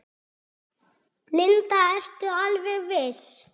Linda: Ertu alveg viss?